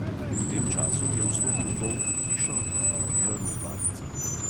V tem času je vstopil volk v hišo in požrl babico.